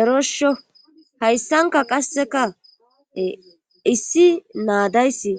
Erosho hayssanka qasseka issi naadayssi